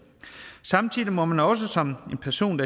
samtidig må man også som en person